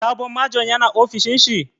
Sabon Majon ya na ofishin shi?